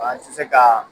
An ti se kaa